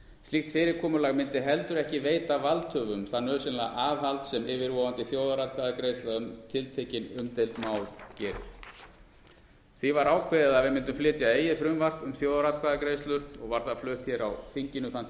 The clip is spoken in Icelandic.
slíkt fyrirkomulag myndi heldur ekki veita valdhöfum það nauðsynlega aðhald sem yfirvofandi þjóðaratkvæðagreiðsla um tiltekin umdeild mál gerir því var ákveðið að við mundum flytja eigið frumvarp um þjóðaratkvæðagreiðslur og var það flutt hér á þinginu þann tuttugasta